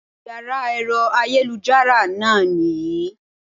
Yàrá èro ayélujára náà nì yí